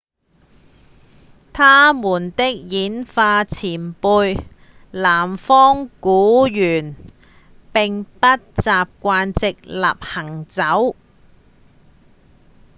他們的演化前輩南方古猿並不習慣直立行走